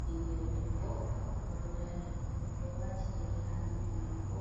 Ɓingel debbo oɗo dari oɗo wati yeri ha noppi mako